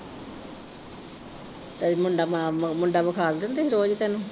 ਤੇ ਮੁੰਡਾ ਮਾ ਮੁੰਡਾ ਵਿਖਾਲਦੇ ਨੀ ਤੁਹੀਂ ਰੋਹਿਤ ਨੂੰ।